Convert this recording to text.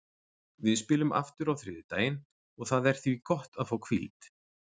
Við spilum aftur á þriðjudaginn og það er því gott að fá hvíld.